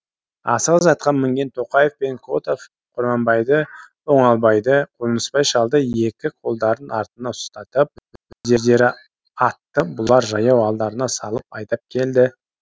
асығыс атқа мінген тоқаев пен котов құрманбайды оңалбайды қонысбай шалды екі қолдарын артына ұстатып өздері атты бұлар жаяу алдарына салып айдап келді